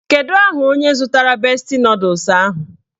Kedu aha onye zụtara besti nọdụs ahụ?